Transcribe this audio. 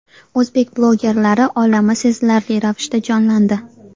O‘zbek bloggerlari olami sezilarli ravishda jonlandi.